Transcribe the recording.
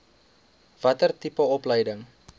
watter tipe opleiding